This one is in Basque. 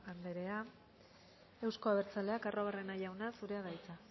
andrea euzko abertzaleak arruabarrena jauna zurea da hitza